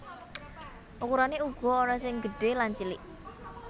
Ukurané uga ana sing gedhé lan cilik